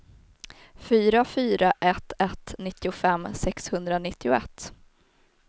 fyra fyra ett ett nittiofem sexhundranittioett